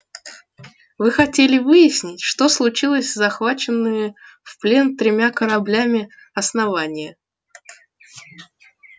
вы хотели выяснить что случилось с захваченными в плен тремя торговыми кораблями основания